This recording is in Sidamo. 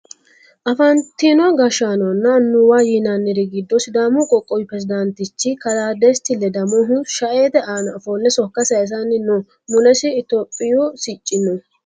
afantino gashshaanonna annuwa yinanniri giddo sidaamu qoqqowi peresidaantichi kalaa desta ledamohu shaete aana ofolle sokka sayiisanni no mulesi itophiyu sicci no